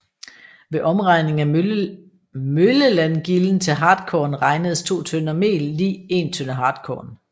Ved omregning af møllelandgilden til hartkorn regnedes 2 tønder mel lig 1 tønde hartkorn